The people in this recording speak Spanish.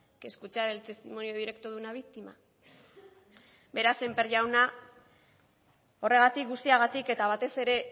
que escuchar el testimonio directo de una víctima beraz sémper jauna horregatik guztiagatik eta batez ere